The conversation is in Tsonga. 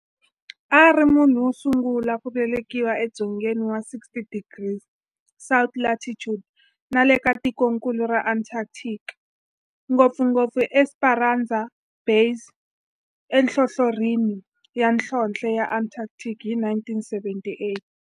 A ri munhu wosungula ku velekiwa e dzongeni wa 60 degrees south latitude nale ka tikonkulu ra Antarctic, ngopfungopfu eEsperanza Base enhlohlorhini ya nhlonhle ya Antarctic hi 1978.